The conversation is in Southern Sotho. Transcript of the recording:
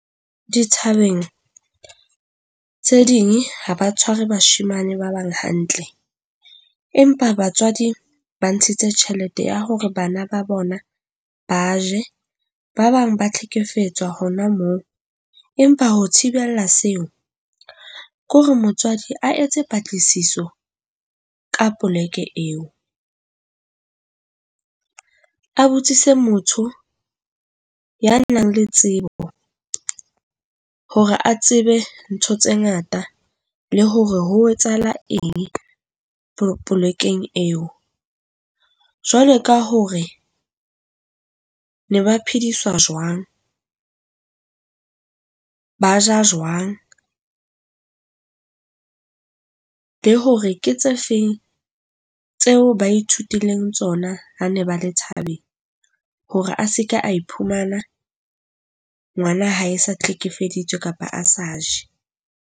Dithabeng tse ding ha ba tshware bashemane ba bang hantle, empa batswadi ba ntshitse tjhelete ya hore bana ba bona ba je. Ba bang ba tlhekefetso hona mo. Empa ho thibela seo ke hore motswadi a etse patlisiso ka poleke eo. Abuti se motho ya nang le tsebo hore a tsebe ntho tse ngata le hore ho etsahala eng polekeng eo. Jwale ka hore ne ba phediswa jwang, ba ja jwang, le hore ke tse feng tseo ba ithutileng tsona ha ne ba le thabeng hore a seka a iphumana ngwana hae sa hlekefeditswe kapa a sa je.